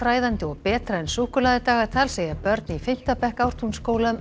fræðandi og betra en súkkulaðidagatal segja börn í fimmta bekk Ártúnsskóla um